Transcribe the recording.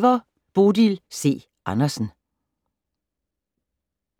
Bodil C. Andersen